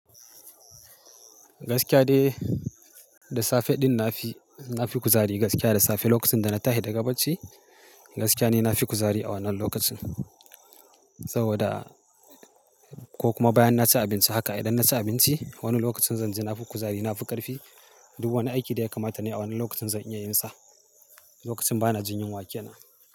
Gaskiya dai, da safe ɗin na fi, na fi kuzari gaskiya da safe lokacin da na tahi daga bacci gaskiya ni na fi kuzari a wannan lokacin. Saboda ko kuma bayan na ci abinci haka idan na ci abinci wani lokacin zan ji na fi kuzari, na fi ƙarfi. Duk wani aiki da ya kamata nayi a wannan lokacin zan iya yin sa, lokacin ba na jin yunwa ke na.